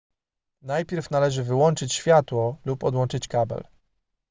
najpierw należy wyłączyć światło lub odłączyć kabel